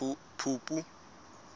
phupu